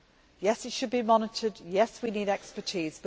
Yes, it should be monitored yes, we need expertise